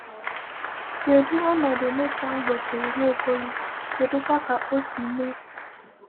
Kedụ ọnọdụ Nathan gosiri Nwaokolo, kedụkwa ka o si mee?